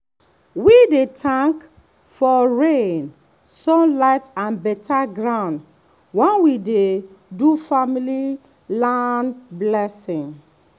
we dey thank for rain sun light and better ground when we dey do family land blessing